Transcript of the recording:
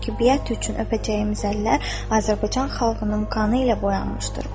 Çünki biət üçün öpəcəyimiz əllər Azərbaycan xalqının qanı ilə boyanmışdır.